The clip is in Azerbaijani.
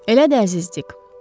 Elə də əzizdik.